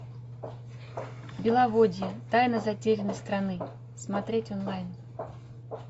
беловодье тайна затерянной страны смотреть онлайн